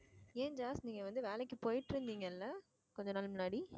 ஏன் நீங்க வந்து வேலைக்கு போயிட்டு இருந்தீங்கல்ல கொஞ்ச நாள் முன்னாடி